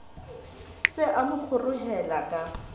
se a mo kgorohela ka